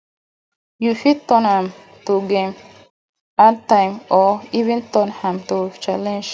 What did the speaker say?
you fit turn am to game add time or even turn am to challenge